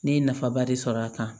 Ne ye nafaba de sɔrɔ a kan